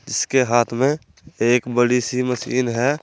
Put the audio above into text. इसके हाथ में एक बड़ी सी मशीन है।